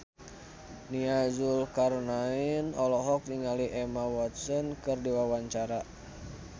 Nia Zulkarnaen olohok ningali Emma Watson keur diwawancara